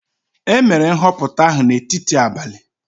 E mere nhọpụta ahụ n'etiti abalị.